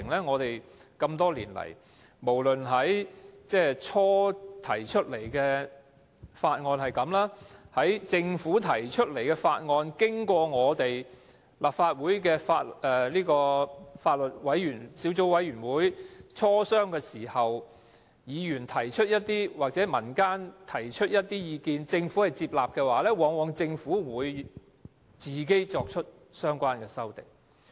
我們多年來多次看到這些過程，例如政府最初提出一項法案，在經過立法會司法及法律事務委員會磋商時，議員或民間提出一些意見而政府接納，但最後往往便由政府提出相關修正案。